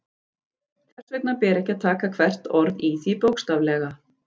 Þess vegna ber ekki að taka hvert orð í því bókstaflega.